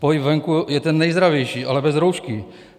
Pohyb venku je ten nejzdravější, ale bez roušky!